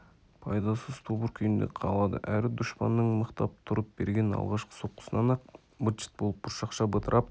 пайдасыз тобыр күйінде қалады әрі дұшпанның мықтап тұрып берген алғашқы соққысынан-ақ быт-шыт болып бұршақша бытырап